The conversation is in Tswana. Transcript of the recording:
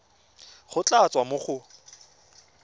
go tla tswa mo go